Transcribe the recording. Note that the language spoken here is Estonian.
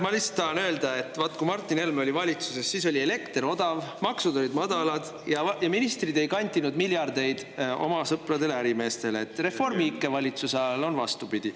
Ma lihtsalt tahan öelda, et vaat kui Martin Helme oli valitsuses, siis oli elekter odav, maksud olid madalad ja ministrid ei kantinud miljardeid oma sõpradele ärimeestele, et Reformi ikke valitsuse ajal on vastupidi.